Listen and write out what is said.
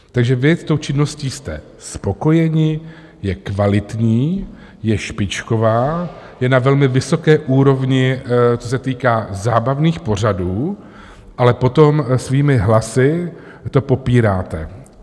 Takže vy s tou činností jste spokojeni, je kvalitní, je špičková, je na velmi vysoké úrovni, co se týká zábavných pořadů, ale potom svými hlasy to popíráte.